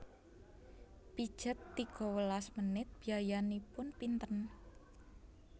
Pijet tiga welas menit biayanipun pinten